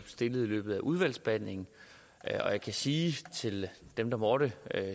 stillet i løbet af udvalgsbehandlingen og jeg kan sige til dem der måtte